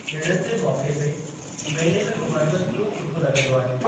ॾिणनि जे मौके ते मेले में घुमणु बि खूब सुठो ल॑ग॒दो आहे।